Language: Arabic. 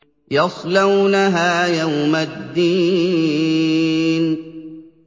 يَصْلَوْنَهَا يَوْمَ الدِّينِ